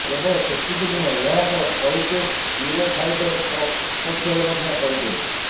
କେବଳ ସେତିକି ନୁହେଁ ଏହାସହ କଳିକେଶ ୟୁରୋ ଫାଇଟର ସପକ୍ଷରେ ମଧ୍ୟ କହିଥିଲେ